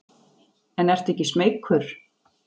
En ertu ekki smeykur?